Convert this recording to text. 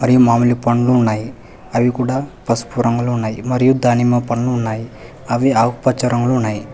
మామిడి పండ్లు ఉన్నాయి అవి కూడా పసుపు రంగులో ఉన్నాయి మరియు దానిమ్మ పనులు ఉన్నాయి అవి ఆకుపచ్చ రంగులు ఉన్నాయి.